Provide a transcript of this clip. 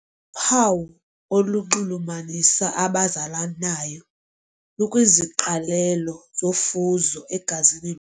Uphawu olunxulumanisa abazalanayo lukwiziqalelo zofuzo egazini.